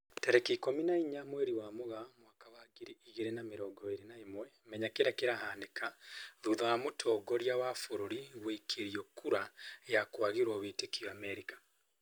Tarĩki ikũmi na inya mweri wa Mũgaa mwaka wa ngiri igĩri na mĩrongo ĩri na ĩmwe, Menya kĩrĩa kĩrahanĩka thutha wa mũtongoria wa bũrũri guikĩrio kura ya kwagĩrwo wĩtĩkio Amerika